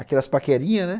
Aquelas paquerinhas, né?